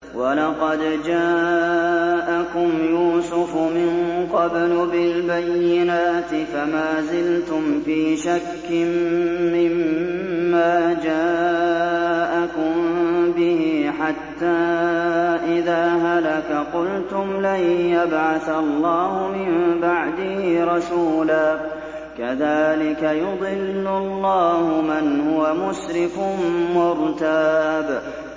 وَلَقَدْ جَاءَكُمْ يُوسُفُ مِن قَبْلُ بِالْبَيِّنَاتِ فَمَا زِلْتُمْ فِي شَكٍّ مِّمَّا جَاءَكُم بِهِ ۖ حَتَّىٰ إِذَا هَلَكَ قُلْتُمْ لَن يَبْعَثَ اللَّهُ مِن بَعْدِهِ رَسُولًا ۚ كَذَٰلِكَ يُضِلُّ اللَّهُ مَنْ هُوَ مُسْرِفٌ مُّرْتَابٌ